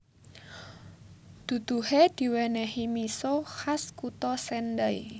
Duduhe diwenehi miso khas kutha Sendai